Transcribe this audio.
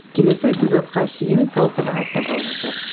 келесі эпизодка шейін сау саламатта болыңыздар